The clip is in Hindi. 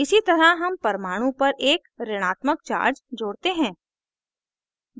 इसी तरह हम परमाणु पर एक ऋणात्मक charge जोड़ते हैं